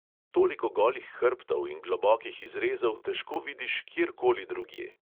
Toliko golih hrbtov in globokih izrezov težko vidiš kjer koli drugje.